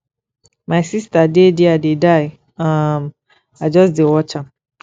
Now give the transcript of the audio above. my sister dey there dey die um i just dey watch am